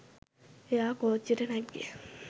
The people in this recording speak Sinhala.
එයා කෝච්චියට නැග්ගෙ